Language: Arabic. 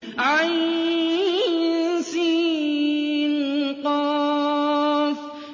عسق